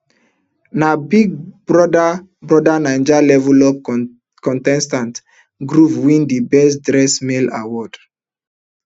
na big brother brother naija level up contestant groovy win di best dressed male award